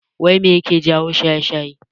Wai mai yake jawo shaye-shaye?